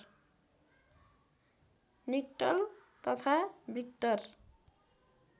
निट्टल तथा विक्टर